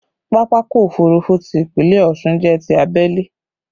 Pápákọ̀ òfurufú ti Ìpínlẹ̀ Ọ̀ṣun jẹ́ ti abẹ́lé